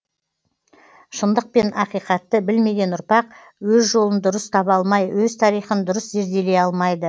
шындық пен ақиқатты білмеген ұрпақ өз жолын дұрыс таба алмай өз тарихын дұрыс зерделей алмайды